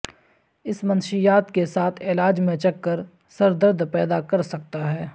اس منشیات کے ساتھ علاج میں چکر سر درد پیدا کر سکتا ہے